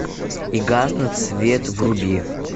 и гаснет свет вруби